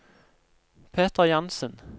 Peter Jansen